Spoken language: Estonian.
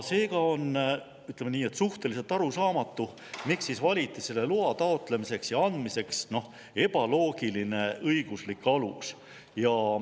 Seega on, ütleme nii, suhteliselt arusaamatu, miks valiti selle loa taotlemiseks ja andmiseks ebaloogiline õiguslik alus.